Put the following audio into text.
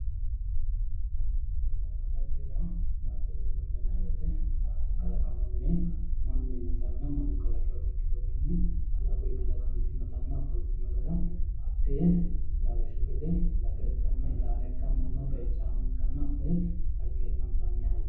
Baattote ofollanna xagge yaa, baattote ofolla yinayi wote baatto kalaqamunni mannu uuyinotanna mannu kalaqinota ikkitukki kalaquyi kalaqantenna ofoltino gara hattee lawishshu gede laga ikkanna xeicha ikkanna, hakkoye xaggeeffantanni hayyo